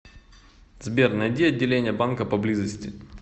сбер найди отделение банка поблизости